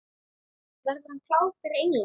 Verður hann klár fyrir England?